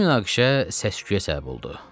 Bu münaqişə təşvişə səbəb oldu.